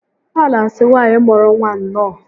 A na asị nwaanyị mụrụ nwa nnọọ